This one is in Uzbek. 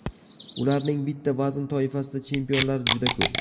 Ularning bitta vazn toifasida chempionlar juda ko‘p.